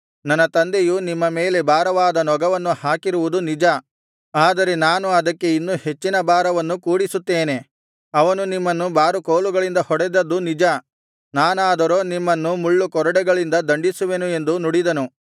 ನನ್ನ ತಂದೆಯು ನಿಮ್ಮ ಮೇಲೆ ಭಾರವಾದ ನೊಗವನ್ನು ಹಾಕಿರುವುದು ನಿಜ ಆದರೆ ನಾನು ಅದಕ್ಕೆ ಇನ್ನೂ ಹೆಚ್ಚಿನ ಭಾರವನ್ನು ಕೂಡಿಸುತ್ತೇನೆ ಅವನು ನಿಮ್ಮನ್ನು ಬಾರುಕೋಲುಗಳಿಂದ ಹೊಡೆದದ್ದು ನಿಜ ನಾನಾದರೋ ನಿಮ್ಮನ್ನು ಮುಳ್ಳು ಕೊರಡೆಗಳಿಂದ ದಂಡಿಸುವೆನು ಎಂದು ನುಡಿದನು